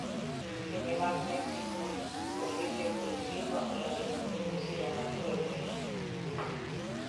Pinje mag Mexico, Bolivia kod Cuba olando dhinyime siro Maduro lwedo.